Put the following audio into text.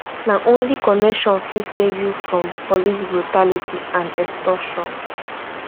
na only connection fit save you from police brutality and extortion